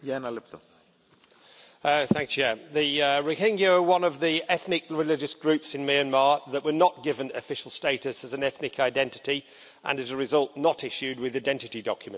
Mr President, the Rohingya are one of the ethnic and religious groups in Myanmar that were not given official status as an ethnic identity, and, as a result, not issued with identity documents.